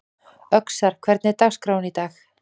Öxar, hvernig er dagskráin í dag?